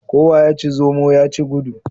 Kowa ya ci zomo ya ci gudu.